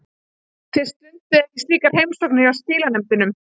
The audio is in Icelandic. Þið stundið ekki slíkar heimsóknir hjá skilanefndunum?